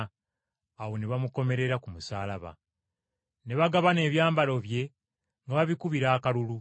Awo ne bamukomerera ku musaalaba. Ne bagabana ebyambalo bye nga babikubira akalulu.